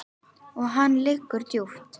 Og hann liggur djúpt